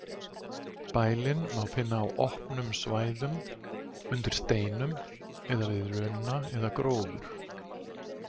Bælin má finna á opnum svæðum, undir steinum eða við runna eða gróður.